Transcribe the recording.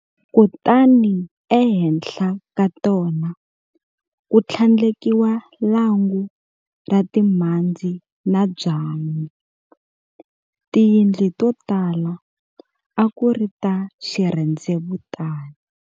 Kutani ehenhla ka tona ku tlhandlekiwa lwangu ra timhandze na byanyi. Tindlu to tala a ku ri ta xirhendzevutani."